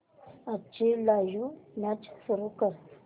आजची live match सुरू कर